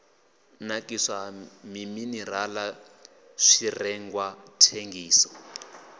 nakiswa ha minirala zwirengwa thengiso